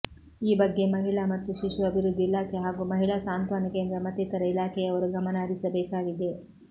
ಈ ಬಗ್ಗೆ ಮಹಿಳಾ ಮತ್ತು ಶಿಶು ಅಭಿವೃದ್ಧಿ ಇಲಾಖೆ ಹಾಗೂ ಮಹಿಳಾ ಸಾಂತ್ವಾನ ಕೇಂದ್ರ ಮತ್ತಿತರ ಇಲಾಖೆಯವರು ಗಮನಹರಿಸಬೇಕಾಗಿದೆ